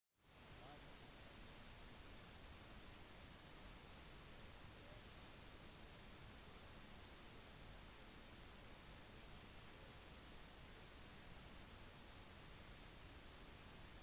feilen i den andre setningen som foreslår å forby likekjønnet partnerskap kan muligens åpne døren for partnerskap i fremtiden